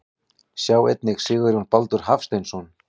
Sjá einnig Sigurjón Baldur Hafsteinsson.